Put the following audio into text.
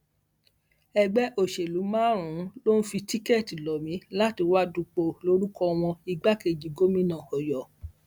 ẹgbẹ òṣèlú márùnún ló ń fi tíkẹẹtì lọ mí láti wàá dúpọ lórúkọ wọn lgbàkejì gómìnà ọyọ